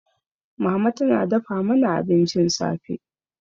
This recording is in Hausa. Mama tana dafa mana abincin safe.